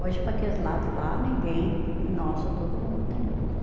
Hoje, para aqueles lados lá, ninguém, nossa, todo mundo tem luz, né?